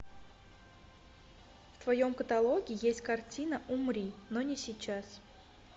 в твоем каталоге есть картина умри но не сейчас